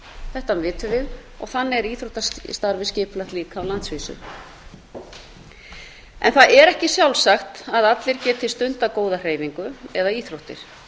þetta vitum við og þannig er íþróttastarfið skipulagt líka á landsvísu það er ekki sjálfsagt að allir geti stundað góða hreyfingu eða íþróttir